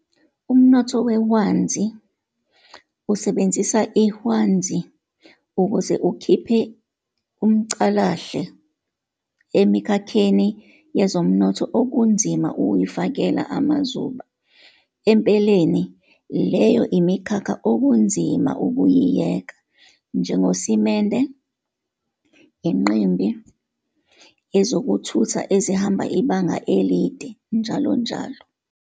Umnotho wehwanzi usebenzisa iHwanzi ukuze ukhiphe umcalahle emikhakheni yezomnotho okunzima ukuyifakela amazuba, empeleni, leyo imikhakha "okunzima ukuyiyeka" njengosimende, inqimbi, ezokuthutha ezihamba ibanga elide njll.